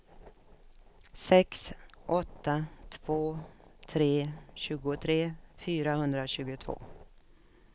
sex åtta två tre tjugotre fyrahundratjugotvå